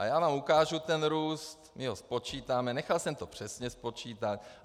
A já vám ukážu ten růst, my ho spočítáme, nechal jsem to přesně spočítat.